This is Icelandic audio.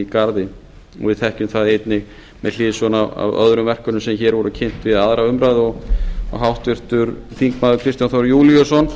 garði við þekkjum það einnig með hliðsjón af öðrum verkefnum sem hér voru kynnt við aðra umræðu og háttvirtir þingmenn kristján þór júlíusson